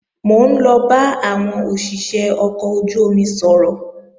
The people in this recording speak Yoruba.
Mò ń lọ bá àwọn òṣìṣé ọkọ̀ ojú-omi sọ̀rọ̀